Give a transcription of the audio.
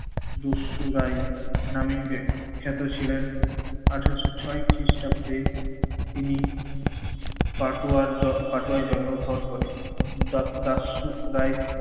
দরশুরাই নামেই যে খ্যাত ছিলেন আঠারোশো ছয় খ্রিস্টাব্দে তিনি কাটোয়ার জ~ কাটোয়ায় জন্মগ্রহণ করেন। দা~ দা~ দারশুরাই